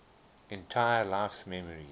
entire life's memories